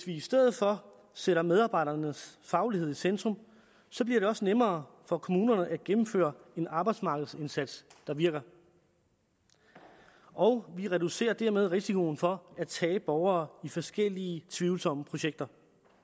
i stedet for sætter medarbejdernes faglighed i centrum så bliver det også nemmere for kommunerne at gennemføre en arbejdsmarkedsindsats der virker og vi reducerer dermed risikoen for at sende borgere i forskellige tvivlsomme projekter